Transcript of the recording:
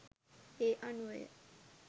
ඒ අනුවය.